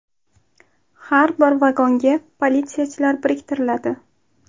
Har bir vagonga politsiyachilar biriktiriladi.